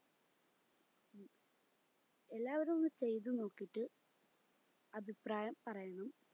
എല്ലാവരും ഒന്ന് ചെയ്ത് നോക്കിട്ട് അഭിപ്രായം പറയണേ